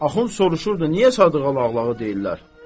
Axund soruşurdu: Niyə Sadığa Lağlağı deyirlər?